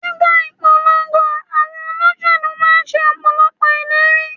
Nígbà ìpolongo, àwọn olóṣèlú máa ń ṣe Ọ̀pọ̀lọ́pọ̀ ìlérí.